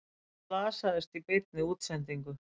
Slasaðist í beinni útsendingu